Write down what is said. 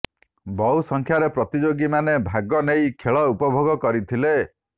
ବହୁ ସଂଖ୍ୟାରେ ପ୍ରତିଯୋଗୀ ମାନେ ଭାଗ ନେଇ ଖେଳ ଉପଭୋଗ କରିଥିଲେ